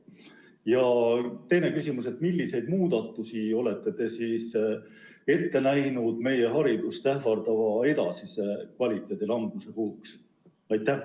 Ja teine küsimus: milliseid muudatusi olete te ette näinud meie haridust ähvardava edasise kvaliteedi languse ärahoidmiseks?